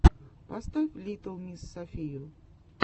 поставь литтл мисс софию